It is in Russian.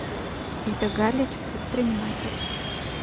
ида галич предприниматель